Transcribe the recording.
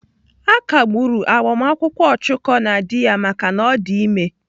À kagburu gbamakwụkwọ Ọchụko na dị ya maka na ọ dị ime.